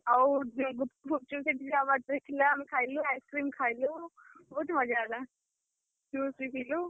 ଆଉ ଯିଏ ଗୁପ୍ଚୁପ ଫୁଚୁପ ସେଠି ଯାହା ବାଟରେ ଥିଲା ଆମେ ଖାଇଲୁ ice cream ଖାଇଲୁ। ବହୁତ୍ ମଜା ହେଲା। juice ବି ପିଇଲୁ।